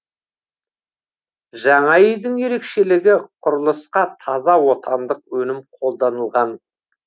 жаңа үйдің ерекшелігі құрылысқа таза отандық өнім қолданылған